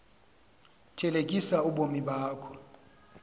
thelekisa ubomi bakho